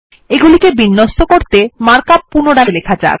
এগুলিকে বিন্যস্ত করতে মার্ক আপ পুনরায় লেখা যাক